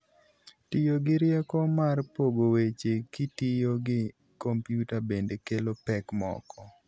Tiyo gi rieko mar pogo weche kitiyo gi kompyuta bende kelo pek moko.